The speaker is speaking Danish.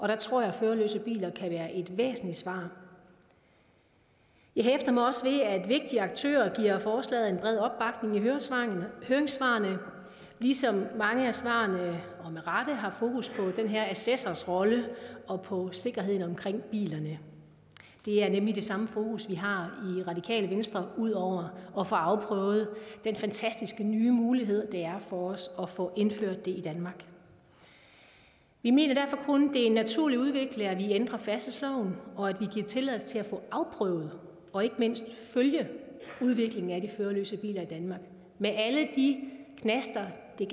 der tror jeg at førerløse biler kan være et væsentligt svar jeg hæfter mig også ved at vigtige aktører giver forslaget en bred opbakning i høringssvarene høringssvarene ligesom mange af svarene med rette har fokus på den her assessors rolle og på sikkerheden omkring bilerne det er nemlig det samme fokus vi har i radikale venstre udover at få afprøvet den fantastiske nye mulighed det er for os at få det indført i danmark vi mener kun er en naturlig udvikling at vi ændrer færdselsloven og at vi giver tilladelse til at få afprøvet og ikke mindst følge udviklingen af de førerløse biler i danmark med alle de knaster der